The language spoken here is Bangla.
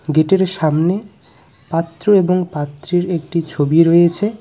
গেটের সামনে পাত্র এবং পাত্রীর একটি ছবি রয়েছে।